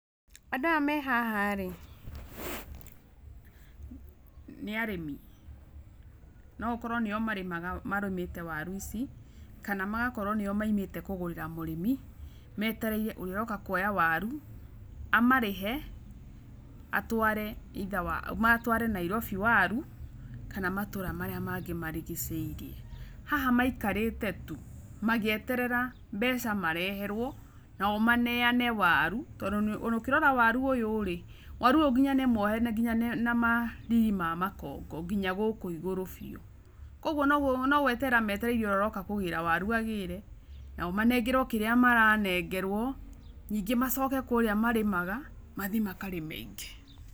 Andũ aya me haha rĩ, nĩ arĩmi, no gũkorwo nĩo marĩmaga marĩmĩte waru ici, kana magakorwo nĩo maumĩte kũgũrĩra mũrĩmi, metereire ũrĩa ũroka kuoya waru, amarĩhe atware either Nairobi waru , kana matũra marĩa mangĩ marigicĩirie. Haha maikarĩte tu magĩeterera mbeca mareherwo, nao maneane waru tondũ ona ũkĩrora waru ũyũ rĩ , waru ũyũ nginya nĩ mwohe ,na nginya na ma ndigi cia makongo nginya gũkũ ĩgũrũ biu, kugwo no gweterera metereire ũrĩa ũroka kũgĩra waru agĩre nao manengerwo kĩrĩa maranengerwo, ningĩ macoke kũrĩa marĩmaga, mathiĩ makarĩme ingĩ.